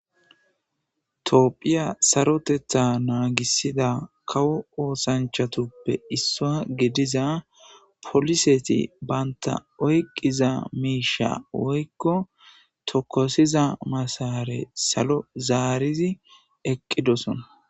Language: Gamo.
toophphiya sarotetha naagisida kawo oosanchatuppe issoa gidiza poliseti baynta oyqqiza miisha woykko tokosiza masaare salo zaarizi eqqidosona